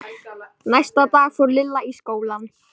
Næsta dag fór Lilla í skólann.